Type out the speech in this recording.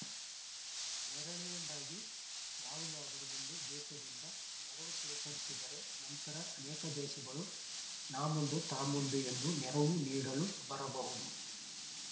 ಎರಡನೆಯದಾಗಿ ಯಾವುದಾದರೂ ಒಂದು ದೇಶದಿಂದ ನೆರವು ಸ್ವೀಕರಿಸಿದರೆ ನಂತರ ಅನೇಕ ದೇಶಗಳು ನಾಮುಂದು ತಾಮುಂದು ಎಂದು ನೆರವು ನೀಡಲು ಬರಬಹುದು